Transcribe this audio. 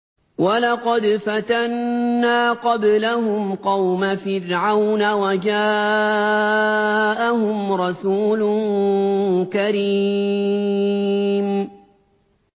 ۞ وَلَقَدْ فَتَنَّا قَبْلَهُمْ قَوْمَ فِرْعَوْنَ وَجَاءَهُمْ رَسُولٌ كَرِيمٌ